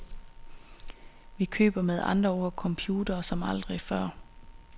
Vi køber med andre ord computere som aldrig før.